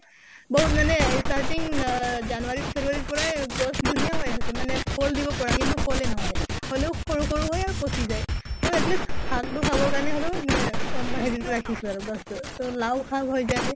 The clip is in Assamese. বহুত মানে starting অহ january february ৰ পৰাই গছ ধুনীয়াই হৈ আছে মানে ফল দিব পৰা কিন্তু ফলে নহয়। হʼলেও সৰু সৰু হয় আৰু পছি যায়। তʼ at least শাক টো খাবৰ কাৰণে হʼলেও মানে এহ হেৰিটো ৰাখিছিলে গছ টো। তʼ লাওঁ শাক হৈ যায়